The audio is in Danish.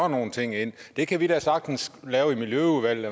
nogle ting ind og det kan vi da sagtens lave i miljøudvalget